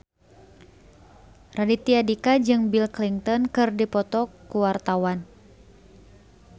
Raditya Dika jeung Bill Clinton keur dipoto ku wartawan